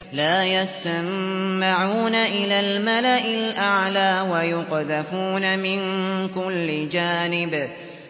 لَّا يَسَّمَّعُونَ إِلَى الْمَلَإِ الْأَعْلَىٰ وَيُقْذَفُونَ مِن كُلِّ جَانِبٍ